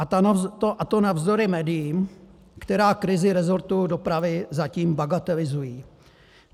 A to navzdory médiím, která krizi resortu dopravy zatím bagatelizují.